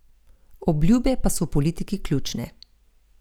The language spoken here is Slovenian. Obljube pa so v politiki ključne.